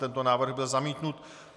Tento návrh byl zamítnut.